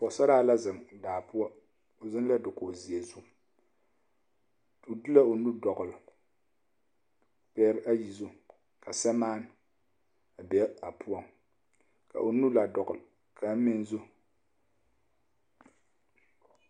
Pɔɡesaraa la zeŋ daa poɔ o zeŋ la dakoɡizeɛ zu o de la o nu dɔɡele o ɡbɛɛr ayi zu ka sɛmaa be a poɔŋ ka o nu la dɔɡele kaŋ meŋ zu.